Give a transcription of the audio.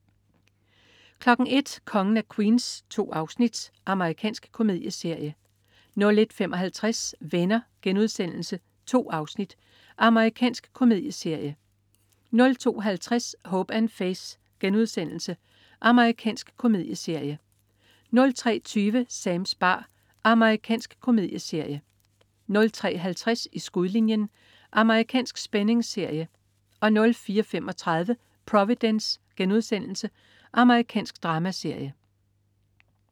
01.00 Kongen af Queens. 2 afsnit. Amerikansk komedieserie 01.55 Venner.* 2 afsnit. Amerikansk komedieserie 02.50 Hope & Faith.* Amerikansk komedieserie 03.20 Sams bar. Amerikansk komedieserie 03.50 I skudlinjen. Amerikansk spændingsserie 04.35 Providence.* Amerikansk dramaserie